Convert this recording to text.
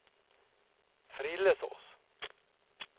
Frillesås